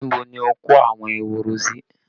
Níbo ni ó kó àwọn ehoro sí?